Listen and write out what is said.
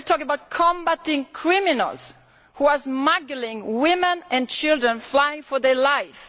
We are talking about combating criminals who are smuggling women and children fleeing for their lives.